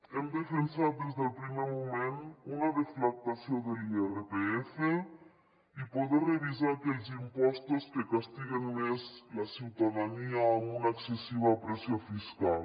hem defensat des del primer moment una deflactació de l’irpf i poder revisar aquells impostos que castiguen més la ciutadania amb una excessiva pressió fiscal